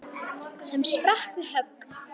sem sprakk við högg.